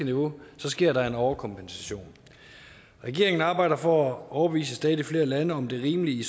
niveau sker der en overkompensation regeringen arbejder for at overbevise stadig flere lande om det rimelige i